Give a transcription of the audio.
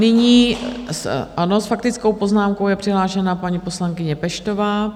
Nyní s faktickou poznámkou je přihlášena paní poslankyně Peštová.